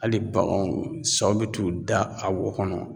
Hali baganw saw bɛ t'u da a wo kɔnɔ